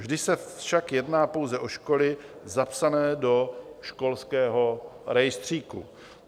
Vždy se však jedná pouze o školy zapsané do školského rejstříku.